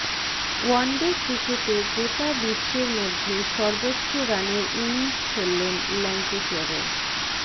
one day ক্রিকেটে গোটা বিশ্বের মধ্যে সর্বোচ্চ রানের ইনিংস খেললেন ল্যাঙ্কেশেয়ারের